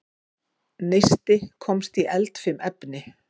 Neisti komst í eldfim efni